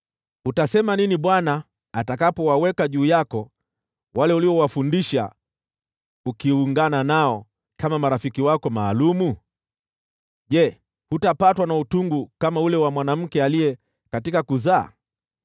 Utasema nini Bwana atakapowaweka juu yako wale ulioungana nao kama marafiki wako maalum? Je, hutapatwa na utungu kama mwanamke aliye katika utungu wa kuzaa?